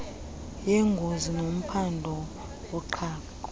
yengozi nomphandi woqhaqho